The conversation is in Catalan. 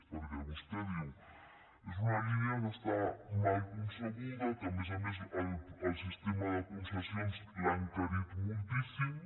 perquè vostè diu és una línia que està mal concebuda que a més a més el sistema de concessions l’ha encarit moltíssim